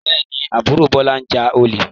Bẹ́ẹ̀ ni, àbúrò Bọ́lá ń ja olè.